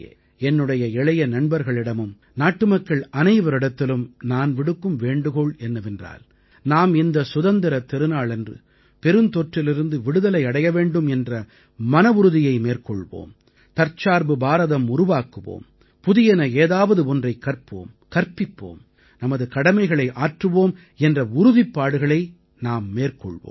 என்னுடைய இளைய நண்பர்களிடமும் நாட்டுமக்கள் அனைவரிடத்திலும் நான் விடுக்கும் வேண்டுகோள் என்னவென்றால் நாம் இந்த சுதந்திரத் திருநாளன்று பெருந்தொற்றிலிருந்து விடுதலை அடைய வேண்டும் என்ற மனவுறுதியை மேற்கொள்வோம் தற்சார்பு பாரதம் உருவாக்குவோம் புதியன ஏதாவது ஒன்றைக் கற்போம் கற்பிப்போம் நமது கடமைகளை ஆற்றுவோம் என்ற உறுதிப்பாடுகளை நாம் மேற்கொள்வோம்